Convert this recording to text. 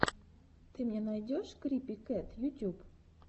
ты мне найдешь крипи кэт ютюб